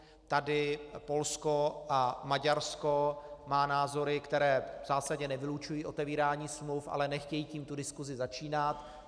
Tady Polsko a Maďarsko má názory, které v zásadě nevylučují otevírání smluv, ale nechtějí tím tu diskusi začínat.